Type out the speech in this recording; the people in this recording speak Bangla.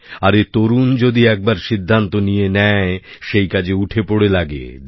আরে তরুণ যদি একবার সিদ্ধান্ত নিয়ে নেয় সেই কাজে উঠে পড়ে লাগে